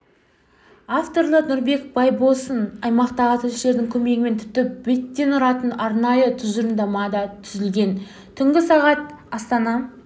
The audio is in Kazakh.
авторлары нұрбек байбосын аймақтағы тілшілердің көмегімен тіпті беттен тұратын арнайы түжырымдама да түзілген түңгі сағат астана